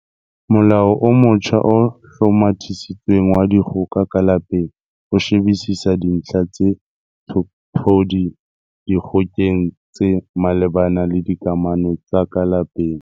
Molao o motjha o Hlomathisitsweng wa Dikgoka ka Lapeng o shebisisa dintlha tse tshophodi dikgokeng tse malebana le dikamano tsa ka lapeng.